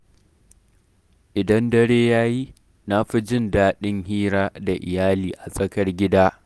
Idan dare ya yi, na fi jin daɗin hira da iyali a tsakar gida.